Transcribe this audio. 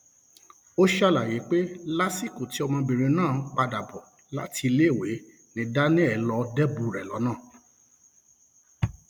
ó ṣàlàyé pé lásìkò tí ọmọbìnrin náà ń padà bọ láti iléèwé ni daniel lọọ débùú rẹ lọnà